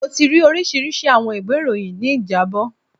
Mo ti ri orisirisi awọn iwe iroyin ni ijabọ